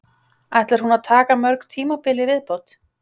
Ætlar hún að taka mörg tímabil í viðbót?